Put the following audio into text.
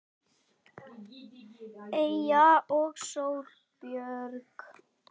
Eyja og Sóley Björk.